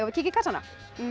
að kíkja í kassana